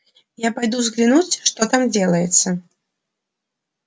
я пойду взглянуть что там делается